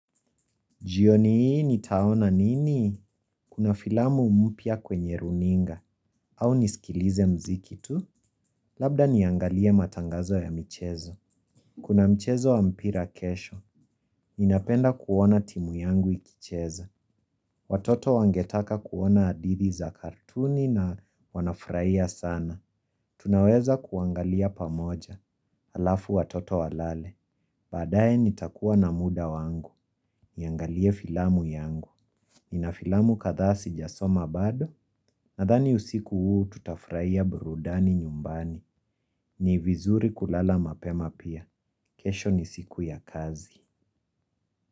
Jioni hii nitaona nini? Kuna filamu mpya kwenye runinga. Au nisikilize mziki tu? Labda niangalie matangazo ya michezo. Kuna mchezo wa mpira kesho. Ninapenda kuona timu yangu ikicheza. Watoto wangetaka kuona adithi za kartuni na wanafraia sana. Tunaweza kuangalia pamoja. Alafu watoto walale. Baadaye nitakuwa na muda wangu. Niangalie filamu yangu. Nina filamu kadhaa sijasoma bado. Nathani usiku huu tutafraia burudani nyumbani. Ni vizuri kulala mapema pia. Kesho ni siku ya kazi.